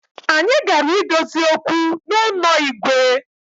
Anyi gara idozi okwu n’ụnọ Igwe